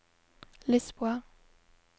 Lisboa